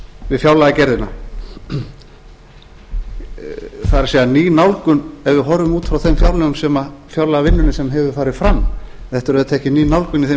við fjárlagagerðina það er ný nálgun ef við horfum út frá fjárlagavinnunni sem hefur farið fram þetta er auðvitað ekki ný nálgun í þeim